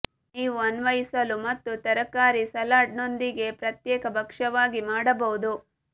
ನೀವು ಅನ್ವಯಿಸಲು ಮತ್ತು ತರಕಾರಿ ಸಲಾಡ್ ನೊಂದಿಗೆ ಪ್ರತ್ಯೇಕ ಭಕ್ಷ್ಯವಾಗಿ ಮಾಡಬಹುದು